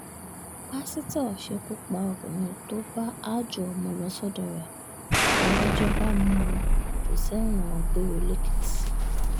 pásítọ̀ ṣekú pa obìnrin tó bá aájò ọmọ lọ sọ́dọ̀ rẹ̀ ládájọ́ bá jù ú sẹ́wọ̀n gbére lẹ́lẹ́kìtì